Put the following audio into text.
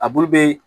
A bulu bɛ